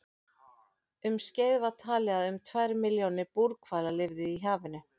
Um skeið var talið að um tvær milljónir búrhvala lifðu í hafinu.